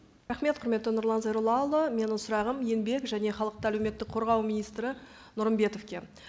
рахмет құрметті нұрлан зайроллаұлы менің сұрағым еңбек және халықты әлеуметтік қорғау министрі нұрымбетовке